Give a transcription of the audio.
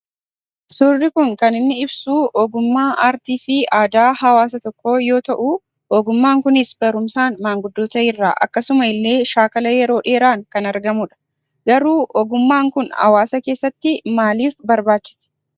Suurri kun kan inni ibsuu ogummaa aartii fi aadaa hawaasa tokkoo yoo ta'uu ogummaan kunis barumsaan maanguddoota irraa akkasuma illee shaakala yeroo dheeraan kan argamudha. Garuu ogummaan kun hawaasa keessattii maaliif barbaachise?